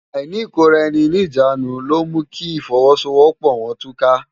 Áìní ikóráèni ni ijánú ló mú ki ifòwòsówòpò wòn túká